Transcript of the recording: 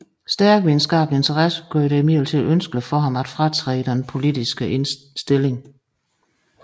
Stærke videnskabelige interesser gjorde det imidlertid ønskeligt for ham at fratræde denne ledende politiske stilling